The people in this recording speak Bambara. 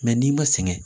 Mɛ n'i ma sɛgɛn